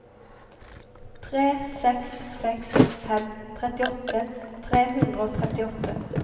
tre seks seks fem trettiåtte tre hundre og trettiåtte